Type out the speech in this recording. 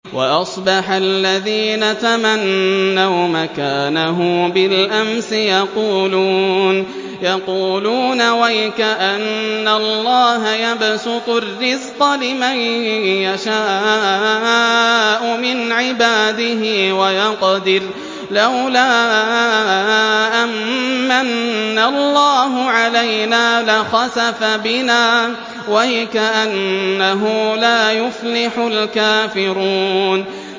وَأَصْبَحَ الَّذِينَ تَمَنَّوْا مَكَانَهُ بِالْأَمْسِ يَقُولُونَ وَيْكَأَنَّ اللَّهَ يَبْسُطُ الرِّزْقَ لِمَن يَشَاءُ مِنْ عِبَادِهِ وَيَقْدِرُ ۖ لَوْلَا أَن مَّنَّ اللَّهُ عَلَيْنَا لَخَسَفَ بِنَا ۖ وَيْكَأَنَّهُ لَا يُفْلِحُ الْكَافِرُونَ